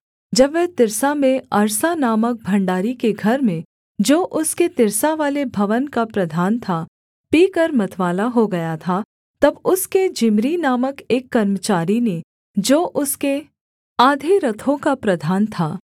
जब वह तिर्सा में अर्सा नामक भण्डारी के घर में जो उसके तिर्सावाले भवन का प्रधान था पीकर मतवाला हो गया था तब उसके जिम्री नामक एक कर्मचारी ने जो उसके आधे रथों का प्रधान था